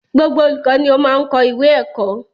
Gbogbo olùkọ ni o máa n kọ ìwé ẹkọ.